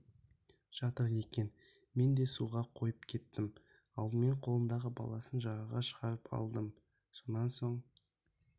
жатыр екен мен де суға қойып кеттім алдымен қолындағы баласын жағаға шығарып алдым сонан соң